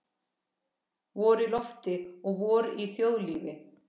Vor í lofti og vor í þjóðlífi.